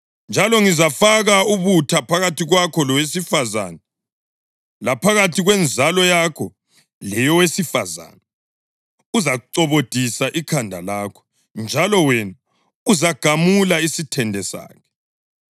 Njalo ngizafaka ubutha phakathi kwakho lowesifazane, laphakathi kwenzalo yakho leyowesifazane; uzacobodisa ikhanda lakho, njalo wena uzagamula isithende sakhe.”